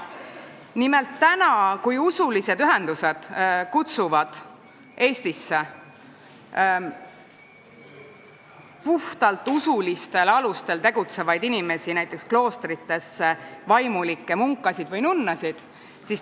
Nimelt, usuühendused kutsuvad Eestisse puhtalt usulistel alustel tegutsevaid inimesi, näiteks kloostritesse vaimulikke, munkasid või nunnasid.